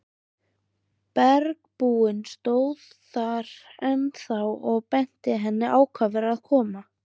Bergbúinn stóð þar ennþá og benti henni ákafur að koma.